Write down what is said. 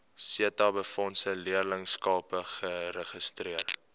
setabefondse leerlingskappe geregistreer